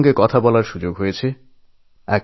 এমন কয়েকজনের সঙ্গে কথাবার্তা বলার সুযোগ হয়েছিল